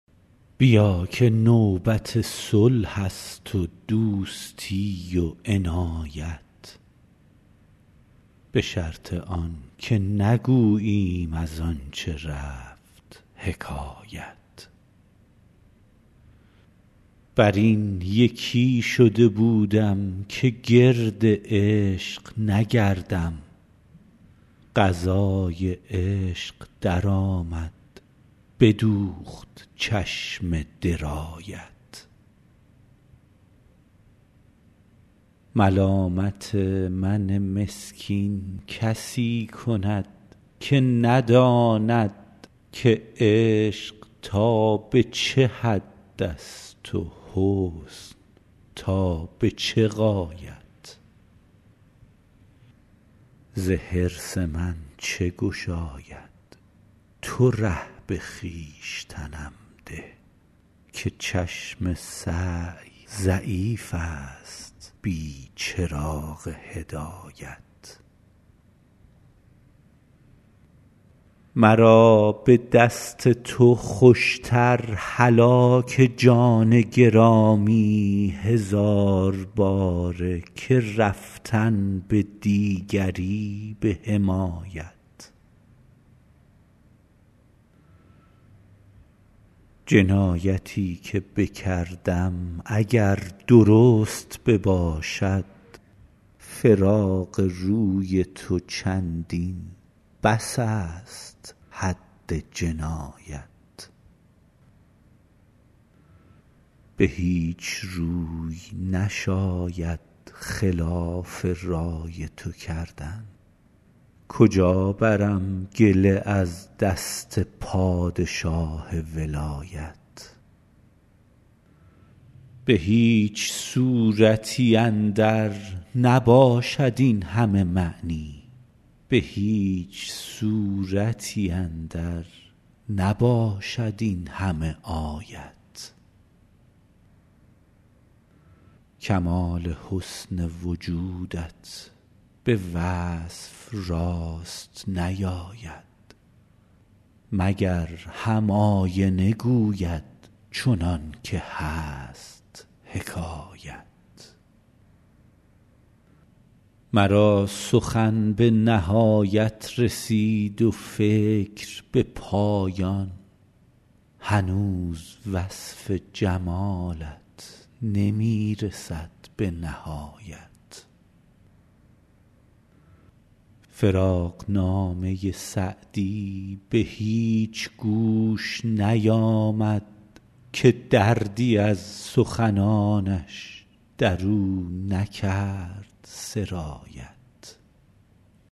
بیا که نوبت صلح است و دوستی و عنایت به شرط آن که نگوییم از آن چه رفت حکایت بر این یکی شده بودم که گرد عشق نگردم قضای عشق درآمد بدوخت چشم درایت ملامت من مسکین کسی کند که نداند که عشق تا به چه حد است و حسن تا به چه غایت ز حرص من چه گشاید تو ره به خویشتنم ده که چشم سعی ضعیف است بی چراغ هدایت مرا به دست تو خوش تر هلاک جان گرامی هزار باره که رفتن به دیگری به حمایت جنایتی که بکردم اگر درست بباشد فراق روی تو چندین بس است حد جنایت به هیچ روی نشاید خلاف رای تو کردن کجا برم گله از دست پادشاه ولایت به هیچ صورتی اندر نباشد این همه معنی به هیچ سورتی اندر نباشد این همه آیت کمال حسن وجودت به وصف راست نیاید مگر هم آینه گوید چنان که هست حکایت مرا سخن به نهایت رسید و فکر به پایان هنوز وصف جمالت نمی رسد به نهایت فراقنامه سعدی به هیچ گوش نیامد که دردی از سخنانش در او نکرد سرایت